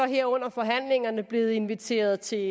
her under forhandlingerne blevet inviteret til